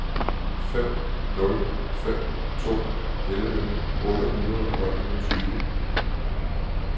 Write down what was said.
fem nul fem to elleve otte hundrede og enogtyve